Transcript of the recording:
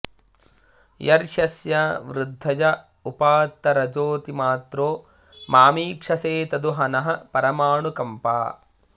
यर्ह्यस्य वृद्धय उपात्तरजोऽतिमात्रो मामीक्षसे तदु ह नः परमानुकम्पा